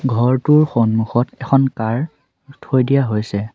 ঘৰটোৰ সন্মুখত এখন কাৰ থৈ দিয়া হৈছে।